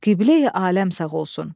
Qibleyi aləm sağ olsun.